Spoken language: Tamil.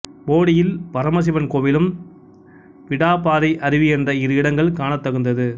போடியில் பரமசிவன் கோவிலும்விடா பாறை அருவி என்ற இரு இடங்கள் காணத் தகுந்தது